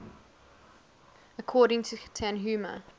according to tanhuma